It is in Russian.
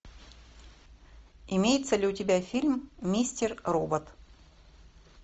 имеется ли у тебя фильм мистер робот